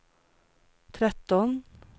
tretton